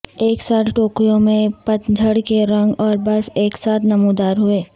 اس سال ٹوکیو میں پت جھڑ کے رنگ اور برف ایک ساتھ نمودار ہوئے